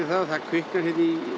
að það kviknar hér í